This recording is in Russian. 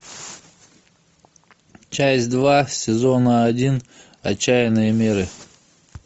часть два сезона один отчаянные меры